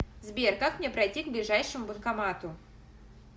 сбер как мне пройти к ближайшему банкомату